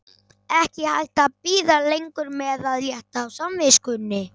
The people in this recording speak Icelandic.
Ekki hægt að bíða lengur með að létta á samviskunni!